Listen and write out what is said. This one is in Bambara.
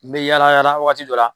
N bɛ yaala yaala wagati dɔ la